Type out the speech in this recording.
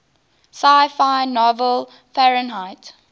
sci fi novel fahrenheit